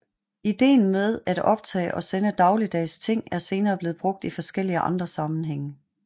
Ideen med at optage og sende dagligdags ting er senere blevet brugt i forskellige andre sammenhænge